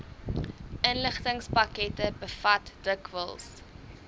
inligtingspakkette bevat dikwels